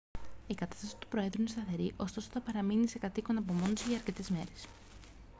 η κατάσταση του προέδρου είναι σταθερή ωστόσο θα παραμείνει σε κατ' οίκον απομόνωση για αρκετές ημέρες